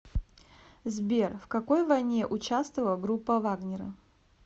сбер в какой войне участвовал группа вагнера